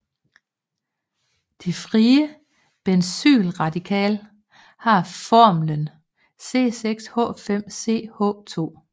Det frie benzylradikal har formlen C6H5CH2